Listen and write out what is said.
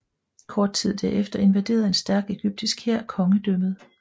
Kort tid derefter invaderede en stærk egyptisk hær kongedømmet